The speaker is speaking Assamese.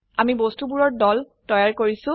আমি বস্তুবোৰৰ দল তৈয়াৰ কৰিছো